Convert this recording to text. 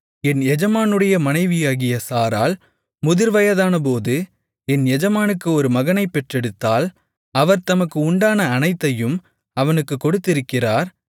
என் எஜமானுடைய மனைவியாகிய சாராள் முதிர்வயதானபோது என் எஜமானுக்கு ஒரு மகனைப் பெற்றெடுத்தாள் அவர் தமக்கு உண்டான அனைத்தையும் அவனுக்குக் கொடுத்திருக்கிறார்